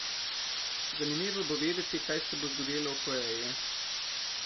Zanimivo bo videti, kaj se bo zgodilo v Koreji.